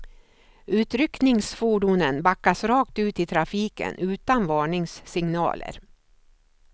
Utryckningsfordonen backas rakt ut i trafiken utan varningssignaler.